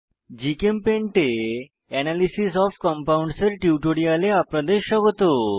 GChemPaint এ analysis of compounds এর টিউটোরিয়ালে আপনাদের স্বাগত